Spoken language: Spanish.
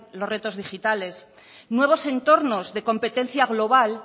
los retos digitales nuevos entornos de competencia global